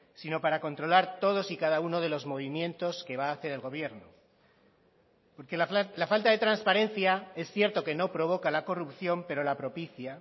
sino para controlar todos y cada uno de los movimientos que va a hacer el gobierno porque la falta de transparencia es cierto que no provoca la corrupción pero la propicia